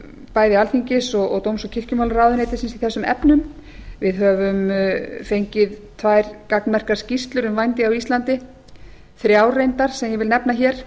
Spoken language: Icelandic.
bæði alþingis og dóms og kirkjumálaráðuneytisins í þessum efnum við höfum fengið tvær gagnmerkar skýrslur um vændi á íslandi þrjár reyndar sem ég vil nefna hér